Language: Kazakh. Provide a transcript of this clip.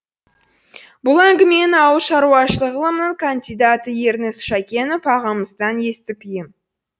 бұл әңгімені ауыл шаруашылығы ғылымының кандидаты ерніс шәкенов ағамыздан естіп ем